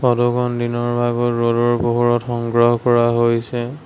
ফটোখন দিনৰ ভাগৰ ৰ'দৰ পোহৰত সংগ্ৰহ কৰা হৈছে।